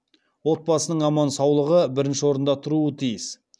отбасының аман саулығы бірінші орында тұруы тиіс